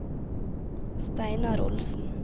Steinar Olsen